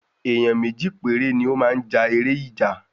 Èyán méjì péré ni o máa ja èrè ìjà